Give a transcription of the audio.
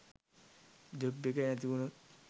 job එක නැතිවුනොත්